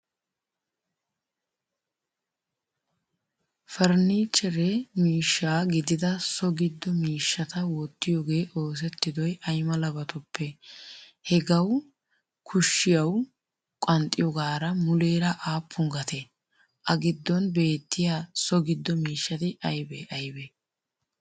Farnichchere miishshaa gidida so giddo miishshata wottiyoge oosettidoy ayamalabatuppe? Hagaawu kushiyawu qanxxiyogara muleraa appun gatee? A giddon betiyaa so giddo miishshati aybe aybe?